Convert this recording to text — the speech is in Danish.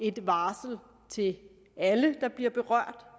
et varsel til alle der bliver berørt